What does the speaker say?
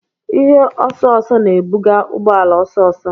Ihe osooso na-ebuga ụgbọ ala ọsọ ọsọ.